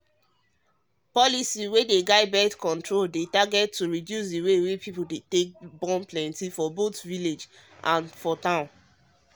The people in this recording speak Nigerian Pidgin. policy wey guide birth control dey target to reduce the way people dey born plenty for both village and town